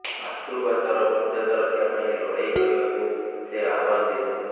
ମାତୃଭାଷାର ମର୍ଯ୍ୟାଦା ରକ୍ଷା ପାଇଁ ଲଢ଼େଇ କରିବାକୁ ସେ ଆହ୍ବାନ ଦେଇଥିଲେ